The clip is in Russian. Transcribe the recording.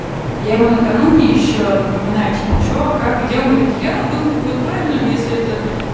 я ему накануне ещё напоминаю типо что как где он говорит я думаю будет правильным если это